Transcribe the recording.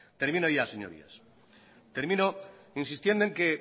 termino ya señorías termino insistiendo en que